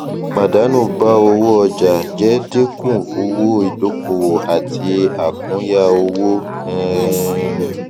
pàdánù bá owó ọjà jẹ dínkù owó ìdókòwò àti àkúnya owó um